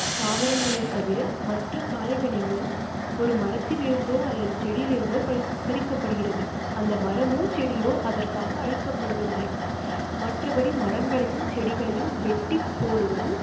தாவரங்களை தவிர மற்ற காய்கனிகள் ஒரு மரத்தில் இருந்தோ அல்லது செடியில் இருந்து பறிக்க ப்படுகிறது. அந்த மரமும் செடியோ அதற்காக அழிக்கப்படுவதில்லை. மற்றபடி மரங்களையும் செடிகளையும் வெட்டிப் போடுவது